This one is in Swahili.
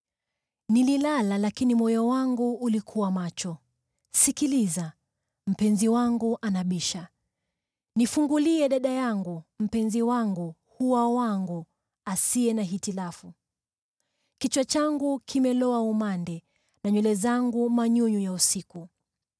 Nililala lakini moyo wangu ulikuwa macho. Sikiliza! Mpenzi wangu anabisha: “Nifungulie, dada yangu, mpenzi wangu, hua wangu, asiye na hitilafu. Kichwa changu kimeloa umande, na nywele zangu manyunyu ya usiku.”